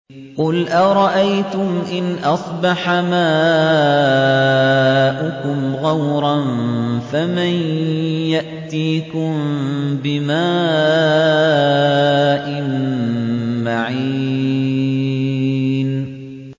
قُلْ أَرَأَيْتُمْ إِنْ أَصْبَحَ مَاؤُكُمْ غَوْرًا فَمَن يَأْتِيكُم بِمَاءٍ مَّعِينٍ